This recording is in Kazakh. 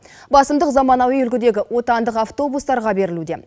басымдық заманауи үлгідегі отандық атвобустарға берілуде